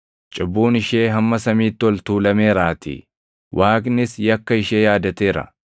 cubbuun ishee hamma samiitti ol tuulameeraatii; Waaqnis yakka ishee yaadateera.